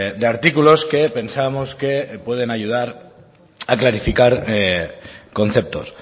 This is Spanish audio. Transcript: de artículos que pensábamos que pueden ayudar a clarificar conceptos